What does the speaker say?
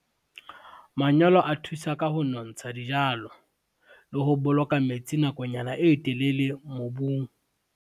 Manyolo a thusa ka ho nontsha dijalo, le ho boloka metsi nakonyana e telele mobung.